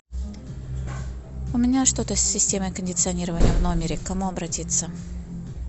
у меня что то с системой кондиционирования в номере к кому обратиться